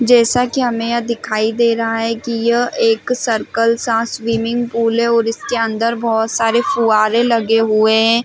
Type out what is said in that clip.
जैसा की हमें यहाँ दिखाई दे रहा है की यह एक सर्किल सा स्विमिंग पूल है और इसके अंदर बहुत सरे फूआरे लगे हुए है।